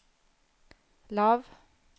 lav